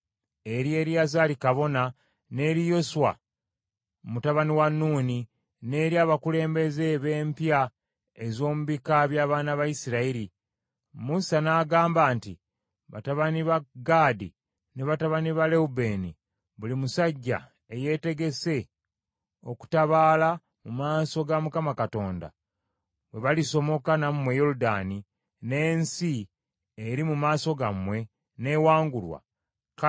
Musa n’agamba nti, “Batabani ba Gaadi ne batabani ba Lewubeeni, buli musajja eyeetegese okutabaala mu maaso ga Mukama Katonda, bwe balisomoka nammwe Yoludaani, n’ensi eri mu maaso gammwe n’ewangulwa, kale mubawanga ensi ya Gireyaadi okubeera omugabo gw’obutaka bwabwe.